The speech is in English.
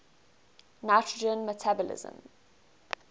nitrogen metabolism